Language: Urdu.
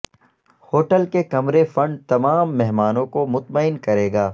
ہوٹل کے کمرے فنڈ تمام مہمانوں کو مطمئن کرے گا